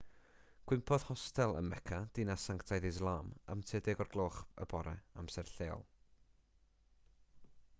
cwympodd hostel ym mecca dinas sanctaidd islam am tua 10 o'r gloch y bore amser lleol